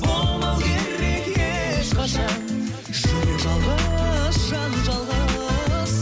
болмау керек ешқашан жүрек жалғыз жан жалғыз